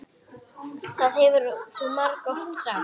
Það hefur þú margoft sagt.